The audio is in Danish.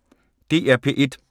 DR P1